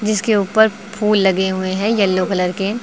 इसके ऊपर फूल लगे हुए हैं येलो कलर के।